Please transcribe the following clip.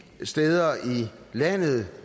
steder i landet